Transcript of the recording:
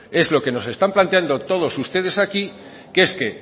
es lo que nos están planteando todos ustedes aquí que es que